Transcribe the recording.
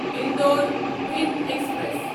Indore Bhind express